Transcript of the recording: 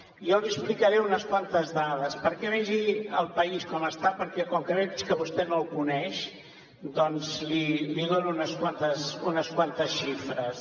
jo li explicaré unes quantes dades perquè vegi el país com està perquè com que veig que vostè no el coneix doncs li dono unes quantes xifres